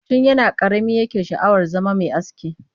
Tun yana ƙarami yake sha'awar zama mai aski